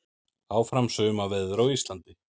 Áfram sumarveður á Íslandi